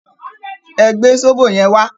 Ẹ gbé sóbò yẹn wá!